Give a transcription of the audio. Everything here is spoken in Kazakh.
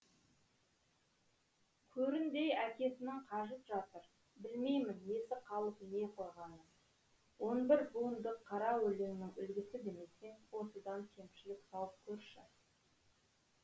көріндей әкесінің қажып жатыр білмеймін несі қалып не қойғанын он бір буындық қара өлеңнің үлгісі демесең осыдан кемшілік тауып көрші